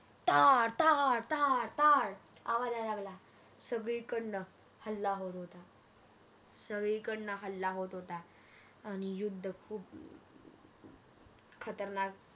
टाळ टाळ टाळ टाळ आवाज येऊ लागला सगळीकडण हल्ला होत होता सगळीकडण हल्ला होत होताआणि युद्ध खूप खतरनाक